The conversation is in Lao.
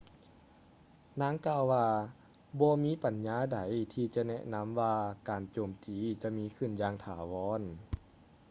ນາງກ່າວວ່າ ບໍ່ມີປັນຍາໃດທີ່ຈະແນະນຳວ່າການໂຈມຕີຈະມີຂຶ້ນຢ່າງຖາວອນ